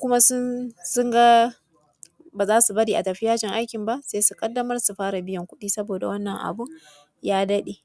Kuma sun. Ga ba za su bari a tafi yajin aikin ba, sai su ƙaddamar su fara biyan kuɗi saboda wannan abun ya daɗe.